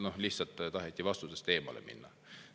Noh, lihtsalt taheti vastusest.